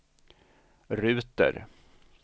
ruter